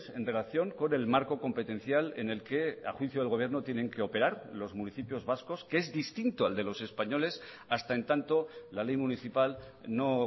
en relación con el marco competencial en el que a juicio del gobierno tienen que operar los municipios vascos que es distinto al de los españoles hasta en tanto la ley municipal no